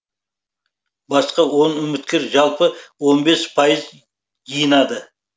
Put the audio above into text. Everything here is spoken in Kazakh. басқа он үміткер жалпы он бес пайыз жинады